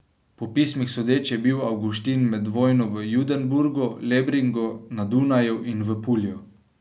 Po pismih sodeč, je bil Avguštin med vojno v Judenburgu, Lebringu, na Dunaju in v Pulju.